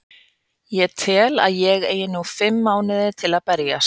Ég tel að ég eigi nú fimm mánuði til að berjast.